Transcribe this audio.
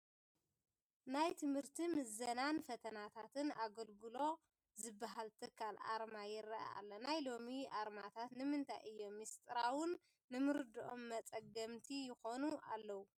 ናይ ትምህርትን ምዘናን ፈትናታትን ኣገልግሎ ዝበሃል ትካል ኣርማ ይርአ ኣሎ፡፡ ናይ ሎሚ ኣርማታት ንምንታይ እዮም ምስጢራዉን ንምርድኦም መፀገምቲ ይኾኑ ዘለዉ?